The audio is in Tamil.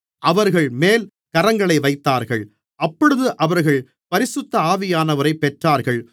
அவர்கள்மேல் கரங்களை வைத்தார்கள் அப்பொழுது அவர்கள் பரிசுத்த ஆவியானவரைப் பெற்றார்கள்